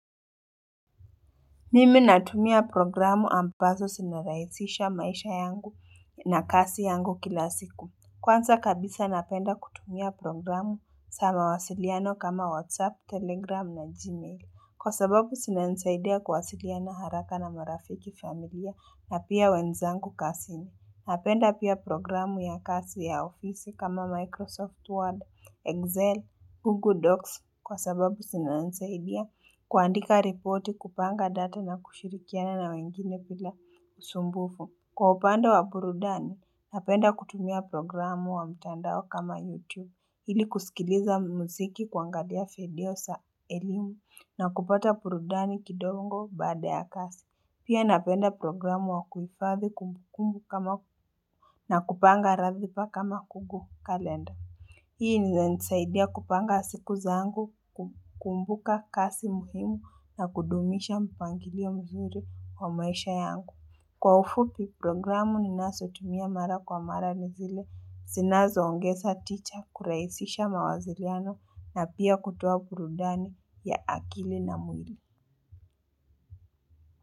Mimi natumia programu ambazo sinarahisisha maisha yangu na kazi yangu kila siku. Kwanza kabisa napenda kutumia programu za mawasiliano kama WhatsApp, Telegram na Gmail. Kwa sababu zinanisaidia kuwasiliana haraka na marafiki familia na pia wenzangu kazini. Napenda pia programu ya kasi ya ofisi kama Microsoft Word, Excel, Google Docs. Kwa sababu zinanisaidia kuandika reporti kupanga data na kushirikiana na wengine bila usumbufu. Kwa upande wa burudani, napenda kutumia programu wa mtandao kama YouTube. Ili kusikiliza mziki kuangalia video za elimu na kupata burudani kidogo badaa ya kazi. Pia napenda programu wa kuifadhi kumbukumbu kama na kupanga ratiba kama Google Calendar. Hii ni za nisaidia kupanga siku za angu, kumbuka kasi muhimu na kudumisha mpangili ya mzuri kwa maisha yangu. Kwa ufupi programu ni nazotumia mara kwa mara nizile, zinazo ongeza ticha, kuraisisha mawaziriano na pia kutuwa burudani ya akili na mwili.